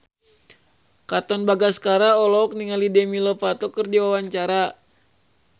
Katon Bagaskara olohok ningali Demi Lovato keur diwawancara